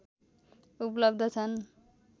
उपलब्ध छन्